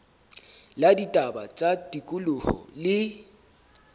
la ditaba tsa tikoloho le